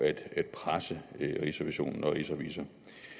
rigsrevisor